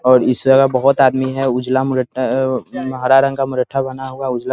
और इस जगह बोहोत आदमी है उजला मुरा अ अ हरा रंग का मुर्टठा बंधा हुआ उजला --